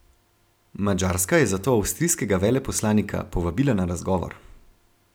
Madžarska je zato avstrijskega veleposlanika povabila na razgovor.